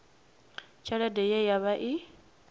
tshelede ye ya vha i